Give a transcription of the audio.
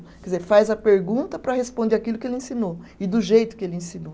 Quer dizer, faz a pergunta para responder aquilo que ele ensinou e do jeito que ele ensinou.